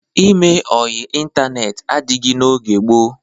Ime ọyị ịntaneetị adịghị n'oge gboo.